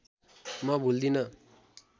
म भुल्दिनँ